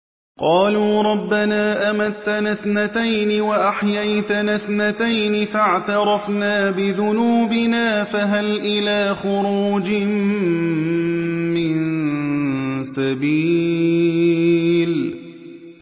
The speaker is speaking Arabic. قَالُوا رَبَّنَا أَمَتَّنَا اثْنَتَيْنِ وَأَحْيَيْتَنَا اثْنَتَيْنِ فَاعْتَرَفْنَا بِذُنُوبِنَا فَهَلْ إِلَىٰ خُرُوجٍ مِّن سَبِيلٍ